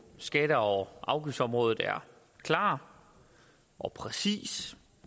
skatte og afgiftsområdet er klar og præcis